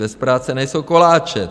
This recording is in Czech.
Bez práce nejsou koláče.